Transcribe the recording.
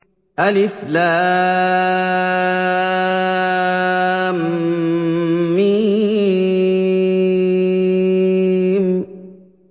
الم